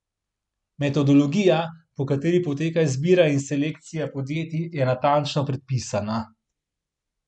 Metodologija, po kateri poteka izbira in selekcija podjetij, je natančno predpisana.